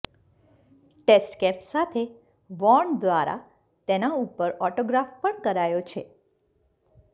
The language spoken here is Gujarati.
ટેસ્ટ કેપ સાથે વોર્ન દ્વારા તેના ઉપર ઓટોગ્રાફ પણ કરાયો છે